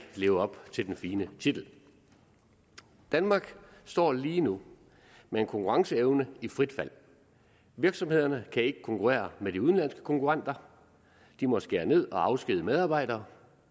leve op til den fine titel danmark står lige nu med en konkurrenceevne i frit fald virksomhederne kan ikke konkurrere med de udenlandske konkurrenter de må skære ned og afskedige medarbejdere